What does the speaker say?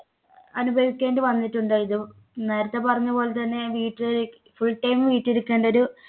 അനുഭവിക്കേണ്ടി വന്നിട്ടുണ്ട്. ഇത് നേരത്തെ പറഞ്ഞ പോലെ തന്നെ വീട്ടിൽ full time വീട്ടിലിരിക്കേണ്ട ഒരു